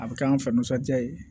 A bɛ kɛ an fɛ nisɔndiya ye